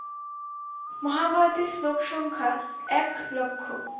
মহাভারতের লোক সংখ্যা এক লক্ষ।